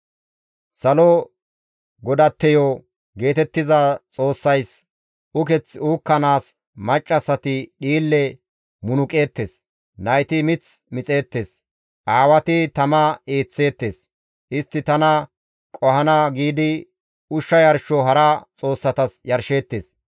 ‹Salo godatteyo› geetettiza xoossayssi uketh uukkanaas maccassati dhiille munuqeettes; Nayti mith mixeettes; aawati tama eeththeettes. Istti tana qohana giidi ushsha yarsho hara xoossatas yarsheettes.